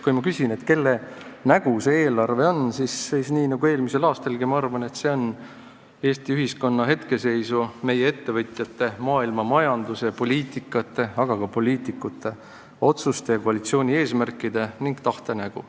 Kui ma küsin, kelle nägu see eelarve on, siis ma arvan nagu eelmisel aastalgi, et see on Eesti ühiskonna hetkeseisu, meie ettevõtjate, maailmamajanduse, poliitikate, aga ka poliitikute otsuste ja koalitsiooni eesmärkide ning tahte nägu.